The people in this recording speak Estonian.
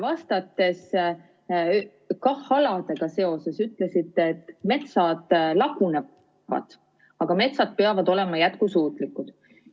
Vastates Kalvi Kõvale KAH‑aladega seoses, ütlesite, et metsad lagunevad, aga metsad peavad olema jätkusuutlikud.